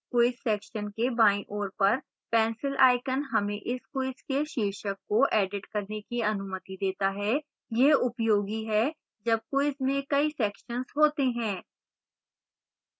quiz section के बाईं ओर पर pencil icon हमें इस quiz के शीर्षक को edit करने की अनुमति देता है यह उपयोगी है जब quiz में कई सेक्शन्स होते हैं